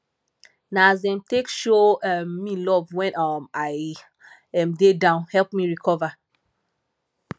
na as dem take show um me love wen um i um dey down help me recover